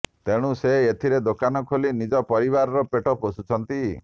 ତେଣୁ ସେ ଏଥିରେ ଦୋକାନ ଖୋଲି ନିଜ ପରିବାରର ପେଟ ପୋଷୁଛନ୍ତି